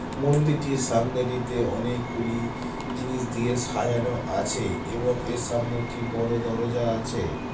মন্দিরটির সামনে টিতে অনেকগুলি জিনিস দিয়ে সাজানো আছে এবং এর সামনে একটি বড়ো দরজা আছে।